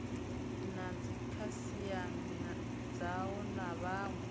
na dzikhasiama dzao na vhawe